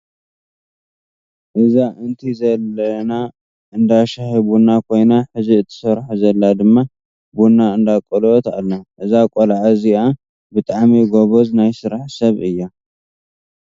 እዛ እንቲ ዘለና እንዳ ሻሂ ቡና ኮይና ሕዚ እትሰርሖ ዘላ ድማ ቡና እንዳቆለወት ኣላ። እዛ ቆልዓ እዚኣ ብጣዕሚ ጎበዝ ናይ ስራሕ ሰብ እያ።